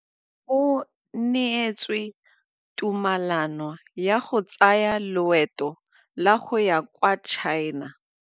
O neetswe tumalanô ya go tsaya loetô la go ya kwa China.